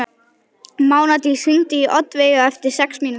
Mánadís, hringdu í Oddveigu eftir sex mínútur.